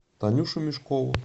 танюшу мешкову